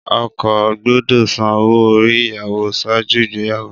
Ọkọ gbọdọ san owo ori iyawo ṣaaju igbeyawo.